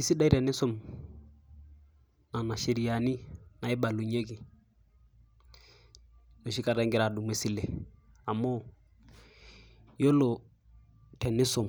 Isidai tenisum tena sheriani naibalunyieki enoshi kata ingira adumu esile. Amu yiolo tenisum ,